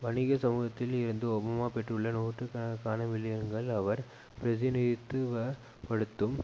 வணிக சமூகத்தில் இருந்து ஒபாமா பெற்றுள்ள நூற்று கணக்கான மில்லியன்கள் அவர் பிரதிநிதித்துவ படுத்தும்